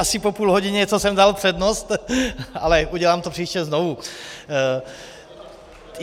Asi po půl hodině, co jsem dal přednost, ale udělám to příště znovu.